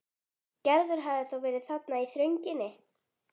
Gerður hafði þá verið þarna í þrönginni.